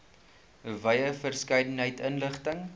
wye verskeidenheid inligting